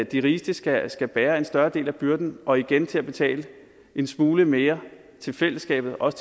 de rigeste skal skal bære en større del af byrden og igen skal til at betale en smule mere til fællesskabet også